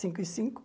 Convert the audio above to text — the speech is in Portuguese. Cinco e cinco.